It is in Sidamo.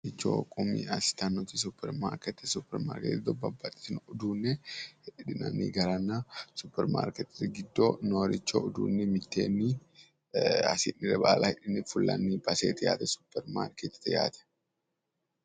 Babbaxxitino uduunne hidhinanni garanna supperimaarkeettete giddo nooricho uduunne mitteenni hasi'nire baala hidhine fulanni baseeti yaate supperimaarkeettete yaate.